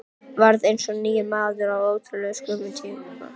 Varð eins og nýr maður á ótrúlega skömmum tíma.